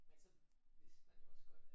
Men så vidste man jo også godt at